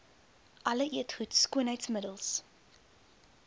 alle eetgoed skoonheidsmiddels